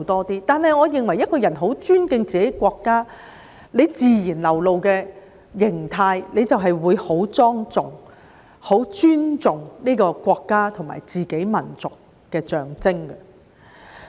但是，我認為如果一個人很尊敬自己的國家，其自然流露的形態便是會很莊重，以示尊重國家和民族的象徵。